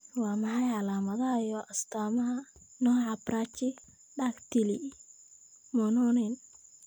Waa maxay calaamadaha iyo astaamaha nooca Brachydactyly Mononen?